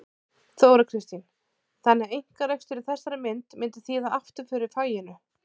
Þóra Kristín: Þannig að einkarekstur í þessari mynd myndi þýða afturför í faginu?